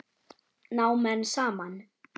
Ná menn saman?